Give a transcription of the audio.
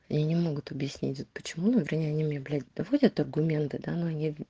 и не могут объяснить вот почему например они мне блять доводят аргументы да но они